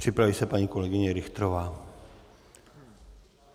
Připraví se paní kolegyně Richterová.